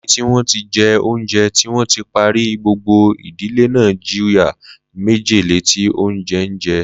Lẹ́yìn tí wọ́n ti jẹ oúnjẹ tí wọ́n ti parí, gbogbo ìdílé náà jìyà májèlé tí oúnjẹ ń jẹ.